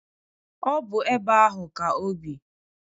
Ọ bụ ebe ahụ ka obi.